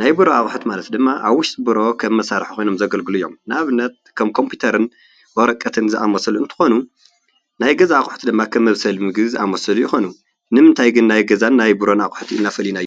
ናይ ቢሮ ኣቁሑት ማለት ኣብ ውሽጢ ቢሮ ከመሳርሒ ኮይኖም ዘገይግሉ እዬም። ንኣብነት ከኮምፒተርን ወረቀትን ዝኣመሰሉ እንትኾኑ ናይ ገዛ ኣቅሑት ከኣ ከመብሰሊ ምግቢ ዝኣመሳሰሉን ይኾኑ። ንምንታይ ግን ናይ ቢሮን ገዛን ኢልና ፈሊናዮም?